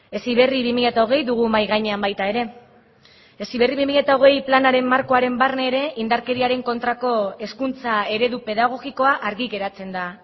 heziberri bi mila hogei dugu mahai gainean baita ere heziberri bi mila hogei planaren markoaren barne ere indarkeriaren kontrako hezkuntza eredu pedagogikoa argi geratzen da